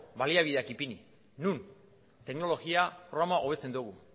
baliabideak ipini non teknologia programa hobetzen dugu